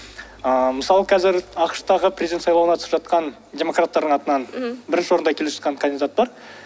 ыыы мысалы қазір ақш тағы президент сайлауына қатысып жатқан демократтардың атынан бірінші орында келе жатқан кандидат бар